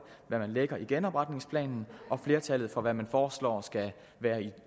hvad man lægger i genopretningsplanen og flertallet for hvad man foreslår skal være